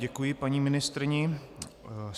Děkuji paní ministryni.